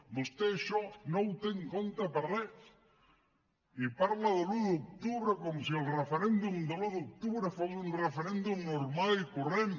vostè això no ho té en compte per res i parla de l’un d’octubre com si el referèndum de l’un d’octubre fos un referèndum normal i corrent